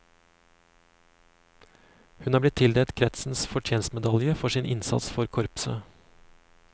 Hun er blitt tildelt kretsens fortjenstmedalje for sin innsats for korpset.